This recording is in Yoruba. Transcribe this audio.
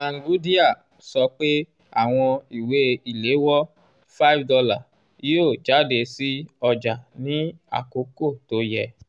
mangudya sọ pé àwọn ìwé ìléwọ́ $5 yóò jáde sí ọjà ní àkókò tó yẹ.